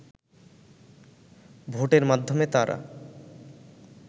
ভোটের মাধ্যমে তারা